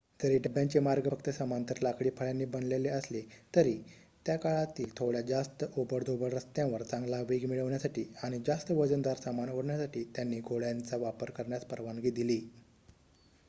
जरी डब्ब्यांचे मार्ग फक्त समांतर लाकडी फळ्यांनी बनलेले असले तरी त्याकाळातील थोड्या जास्त ओबडधोबड रस्त्यांवर चांगला वेग मिळवण्यासाठी आणि जास्त वजनदार सामान ओढण्यासाठी त्यांनी घोड्यांचा वापर करण्यास परवानगी दिली